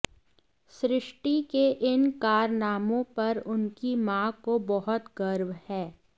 सृष्टि के इन कारनामों पर उनकी मां को बहुत गर्व है